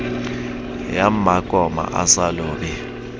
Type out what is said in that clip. ya mmakoma a sa lobe